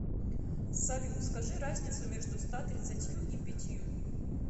салют скажи разницу между ста тридцатью и пятью